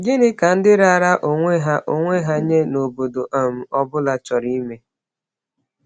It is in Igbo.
Gịnị ka ndị raara onwe ha onwe ha nye n’obodo um ọ bụla chọrọ ime?